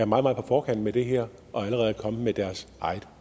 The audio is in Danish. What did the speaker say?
meget på forkant med det her og allerede er kommet med deres eget